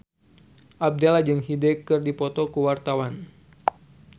Abdel jeung Hyde keur dipoto ku wartawan